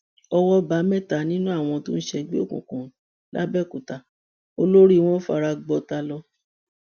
ọwọ bá mẹta nínú àwọn tó ń ṣègbè òkùnkùn làbẹòkúta olórí wọn fara gbọtà lọ